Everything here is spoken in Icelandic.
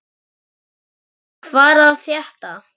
Leon, hvað er að frétta?